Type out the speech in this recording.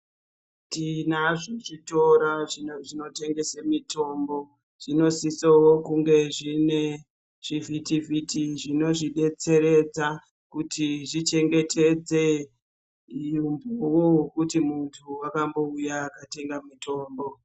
Tinazvo zvitora zvinotengesa mitombo zvinosisao kunge zvine chivhitivhiti zvinozvidetseredza kuti zvichengetedze kuti munthu wakambouya akatenga mutombo.